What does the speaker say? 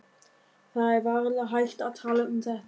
Það er varla hægt að tala um þetta.